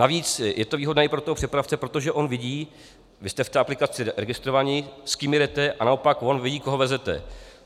Navíc je to výhodné i pro toho přepravce, protože on vidí, vy jste v té aplikaci registrováni, s kým jedete, a naopak on vidí, koho veze.